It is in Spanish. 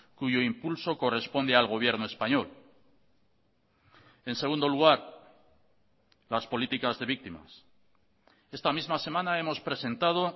cuyo impulso corresponde al gobierno español en segundo lugar las políticas de víctimas esta misma semana hemos presentado